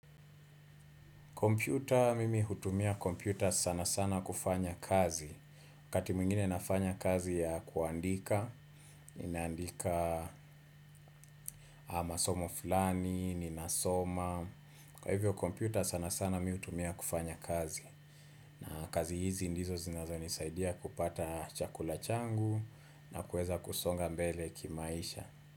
Kompyuta, mimi hutumia kompyuta sana sana kufanya kazi. waKati mwingine nafanya kazi ya kuandika, ninandika ama somo fulani, ninasoma. Kwa hivyo kompyuta sana sana mimi huitumia kufanya kazi. Kazi hizi ndizo zinaweza nisaidia kupata chakula changu na kuweza kusonga mbele kimaisha.